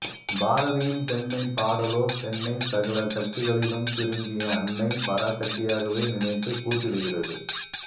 பாரதியின் பெண்மை பாடலோ பெண்ணை சகல சக்திகளிலும் திரும்பிய அன்னை பராசக்தியாகவே நினைத்துக் கூத்திடுகிறது